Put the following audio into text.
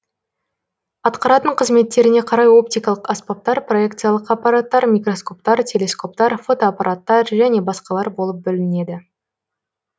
атқаратын қызметтеріне карай оптикалық аспаптар проекциялық аппараттар микроскоптар телескоптар фотоаппараттар және басқалар болып бөлінеді